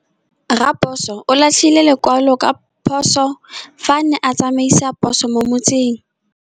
Raposo o latlhie lekwalô ka phosô fa a ne a tsamaisa poso mo motseng.